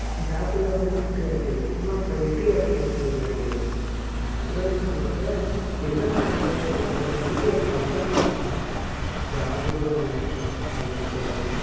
job இல்லாம இருக்க முடியாதே சும்மா அப்போ வெட்டியாஇருக்கானு சொல்லிடுவார்களே. அப்டிதான்னசொலுவாங்க என்னடா இது இவ வீட்டுல தெண்டமா இருக்க job கூட இல்லாம அப்டினு சொல்லுவாக.